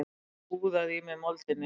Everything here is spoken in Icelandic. Úðað í mig moldinni.